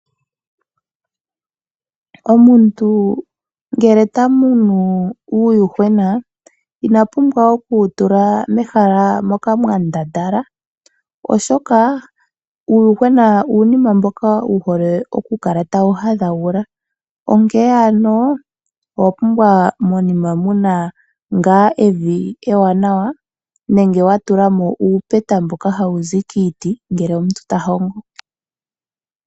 Omuntu ngele ta munu uuyuhwena ina pumbwa okuwu tula mehala moka mwa ndandala, oshoka uuyuhwena uunima mboka wu hole okukala tawu hadhagula, onkene owa pumbwa monima mu na ngaa evi ewanawa nenge wa tula mo uupeta mboka hawu zi kiiti ngele omuntu ta hongo.